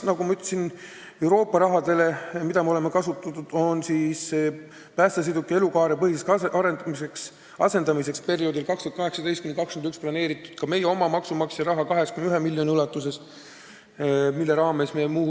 Nagu ma ütlesin, lisaks Euroopa rahale, mida me oleme kasutanud, on päästesõidukite elukaarepõhiseks asendamiseks perioodil 2018–2021 kavas meie oma maksumaksja raha kasutada 81 miljonit eurot.